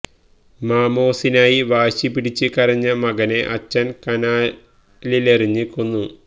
മോമോസിനായി വാശി പിടിച്ച് കരഞ്ഞ മകനെ അച്ഛൻ കനാലിലെറിഞ്ഞ് കൊന്നു